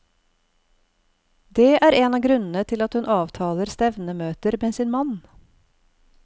Det er en av grunnene til at hun avtaler stevnemøter med sin mann.